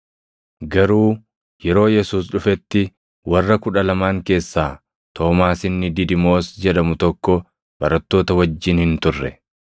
Garuu yeroo Yesuus dhufetti warra Kudha Lamaan keessaa Toomaas inni Didimoos jedhamu tokko barattoota wajjin hin turre.